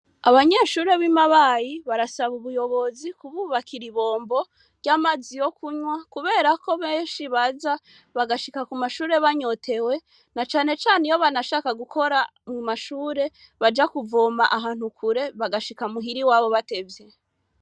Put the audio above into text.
Abanyeshure b'i Mabayi barasaba ubuyobozi kububakira ibombo ry'amazi yo kunywa, kubera ko benshi baza bagashika ku mashure banyotewe, na cane cane iyo banashaka gukora mu mashure, baja kuvoma ahantu kure, bagashika muhira iwabo batevye.